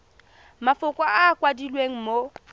mafoko a a kwadilweng mo